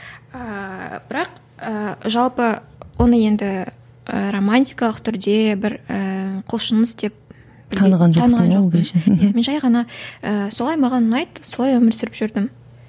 ііі бірақ ііі жалпы оны енді і романтикалық түрде бір ііі құлшыныс деп таныған жоқпын мен жай ғана ііі солай маған ұнайды солай өмір сүріп жүрдім